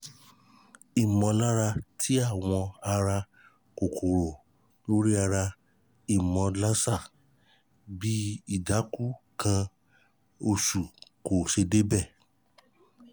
imọlara ti awo ara kokoro lori ara imolarsa bi idaku ikan osu ti ko se deede